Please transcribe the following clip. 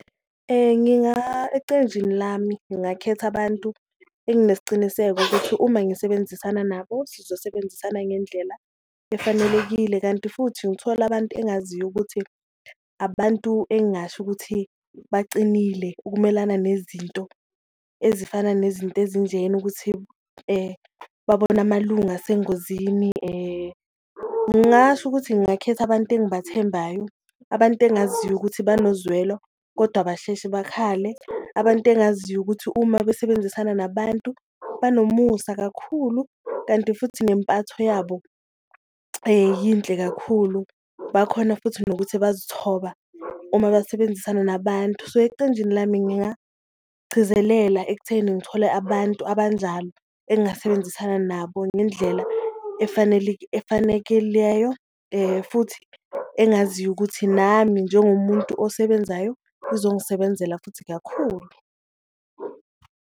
Ecenjini lami, ngakhetha abantu enginesiciniseko ukuthi uma ngisebenzisana nabo sizosebenzisana ngendlela efanelekile, kanti futhi ngithole abantu engaziyo ukuthi abantu engasho ukuthi bacinile ukumelana nezinto ezifana nezinto ezinjena, ukuthi babone amalunga asengozini. Ngingasho ukuthi ngakhetha abantu engibathembayo abantu engaziyo ukuthi banozwelo kodwa abasheshe bakhale, abantu engaziyo ukuthi uma besebenzisana nabantu banomusa kakhulu, kanti futhi nempatho yabo yinhle kakhulu. Bakhona futhi nokuthi bazithoba uma basebenzisana nabantu, so ecenjini lami ngingagcizelela ekutheni ngithole abantu abanjalo, engasebenzisana nabo ngendlela efanekeleyo futhi engaziyo ukuthi nami njengomuntu osebenzayo izongisebenzela futhi kakhulu.